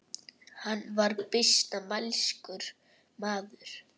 Hann var býsna mælskur maður.